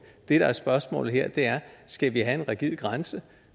det der er spørgsmålet her er skal vi have en rigid grænse